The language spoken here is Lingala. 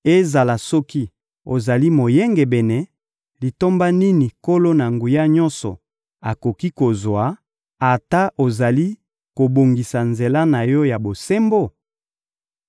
Ezala soki ozali moyengebene, litomba nini Nkolo-Na-Nguya-Nyonso akoki kozwa, ata ozali kobongisa nzela na yo ya bosembo?